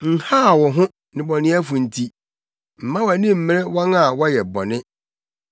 Nhaw wo ho, nnebɔneyɛfo nti; mma wʼani mmmere wɔn a wɔyɛ bɔne;